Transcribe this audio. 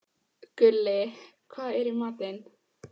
Gulli, hvað er í matinn?